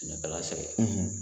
Sɛnɛkɛla sɛgɛn